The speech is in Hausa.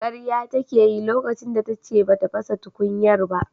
Karya take yi lokacin da tace bata fasa tukunyar ba.